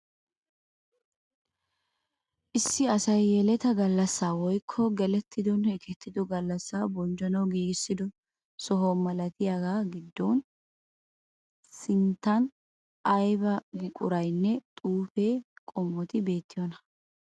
Issi asay yeletaa gallassaa woykko gelettidonne ekettido gallassa bonchchanawu giigissido soho malatiyagaa giddooninne sinttan ayba ayba buquraynne xuufe qommoti beettiyonaa?